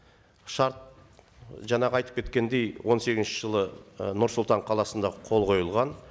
шарт жаңағы айтып кеткендей он сегізінші жылы ы нұр сұлтан қаласында қол қойылған